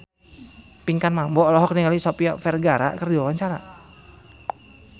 Pinkan Mambo olohok ningali Sofia Vergara keur diwawancara